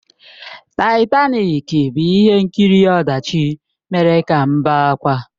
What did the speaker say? Taịtanik bụ ihe nkiri ọdachi mere ka m bee ákwà.